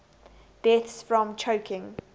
deaths from choking